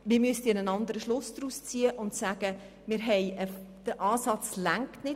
Man müsste einen anderen Schluss daraus ziehen und sagen, dass der Ansatz nicht reicht.